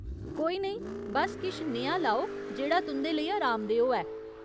कोई नेईं, बस्स किश नेहा लाओ जेह्ड़ा तुं'दे लेई अरामदेह् होऐ !